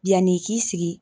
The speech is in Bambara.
Yan'i k'i sigi